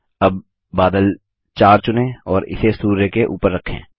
अब बादल 4 चुनें और इसे सूर्य के ऊपर रखें